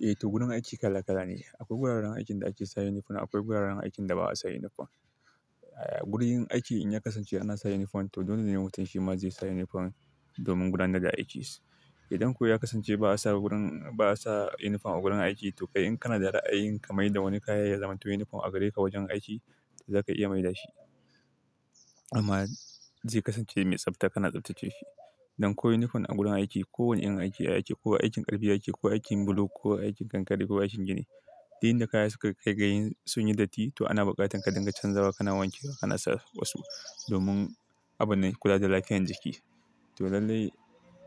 Eh to, gurin aiki kala kala ne. Akwai guraren aikin da ake sa uniform akwai guraren aikin da ba'a sa uniform. Eh, gurin aiki in ya kasance ana sa yunifom to dole ne mutum shi ma zai sa yunifom domin gudanar da aikinshi. Idan kuwa ya kasance ba'a sa gurin-- ba'a sa yunifom a gurin aiki to kai in kanada ra'ayi ka maida wani kayan ya zamanto yunifom a gare ka wajen aiki, zaka iya maida shi. Amma zai kasance mai tsafta, kana tsaftace shi. Don ko yunifom a gurin aiki ko wani irin aiki a aiki ko aikin ƙarfi yake ko aikin bulo ko aikin kankare ko aikin gini, duk inda kaya suka kai ga yin sun yi datti to ana buƙatar ka dinga canzawa kana wanke kana sa wasu domin abun kula da lafiyan jiki. To lallai,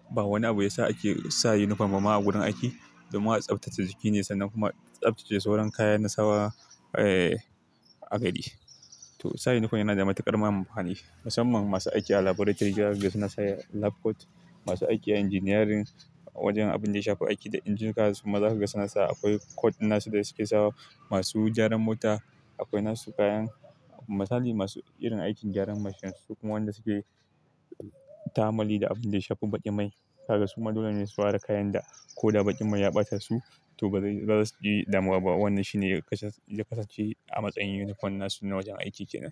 ba wani abu ya sa ake sa yunifom ba ma a gurin aiki domin a tsaftace jiki ne sannan kuma tsaftace sauran kayan na sawa eh a gari. To sa yunifom yana da matuƙar ma amfani Musamman masu aiki a laburatori, zaka ga suna sa lab coat. Masu aiki a injiniyarin wajen abin da ya shafi aiki da injina, kuma zaka ga suna sa akwai coat na su da suke sawa. Masu gyaran mota akwai nasu kayan. Misali masu irin aikin gyaran mashin su kuma wanda suke ta'ammali da abin da ya shafi baƙin mai, haka kuma dole ne su ware kayan da ko da baƙin mai ya ɓata su to baza suji damuwa bah. Wannan shi ne ya kasance-- kasance a matsayin yunifom na su na wajen aiki kenan.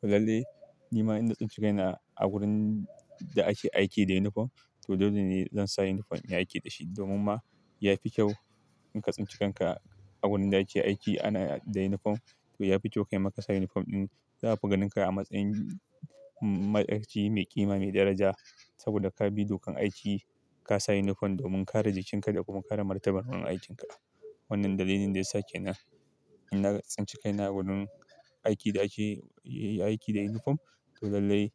To lallai ni ma in na tsinci kaina a gurin da ake aiki da yunifom to dole ne zan sa yunifom in yi aiki da shi domin ma ya fi kyau in ka tsinci kanka a gurin da kike aiki ana da yunifom. To ya fi kyau kaima ka sa yunifom ɗin. Za a fi ganinka a matsayin ma'aikaci mai ƙima mai daraja saboda ka bi dokan aiki, ka sa yunifom domin kare jikinka da kuma kare martaban wurin aikinka. Wannan dalilin da yasa kenan, in na tsinci kaina a wurin aiki da ake yi aiki da yunifom to lallai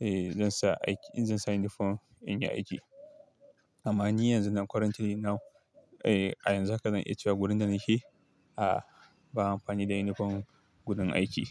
eh zan sa aiki-- in zan sa yunifom in yi aiki. Amma ni yanzu na currently now. Eh, a yanzu haka zan iya cewa gurin da nake a ba a amfani da yunifom gurin aiki.